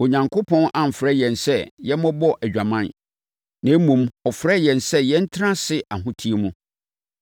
Onyankopɔn amfrɛ yɛn sɛ yɛmmɛbɔ adwaman, na mmom, ɔfrɛɛ yɛn sɛ yɛntena ase ahoteɛ mu.